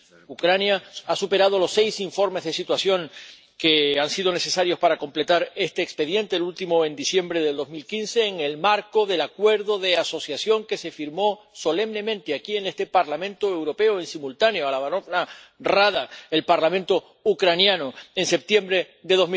Ucrania ha superado los seis informes de situación que han sido necesarios para completar este expediente, el último en diciembre de 2015, en el marco del Acuerdo de Asociación que se firmó solemnemente aquí, en este Parlamento Europeo, y simultáneamente en la Verjovna Rada —el Parlamento ucraniano—, en septiembre de